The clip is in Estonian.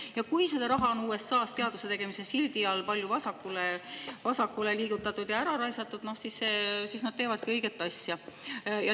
Ja kui USA‑s on teaduse tegemise sildi all raha palju vasakule liigutatud ja ära raisatud, no siis nad teevadki õiget asja.